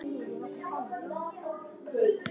Hvenær getum við farið?